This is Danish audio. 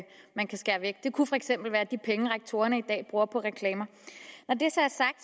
skære flødeskummet væk det kunne for eksempel være de penge som rektorerne i dag bruger på reklamer når